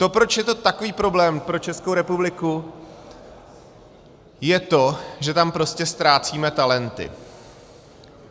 To, proč je to takový problém pro Českou republiku, je to, že tam prostě ztrácíme talenty.